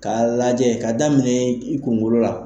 K'a lajɛ ka daminɛ i kunkolo la.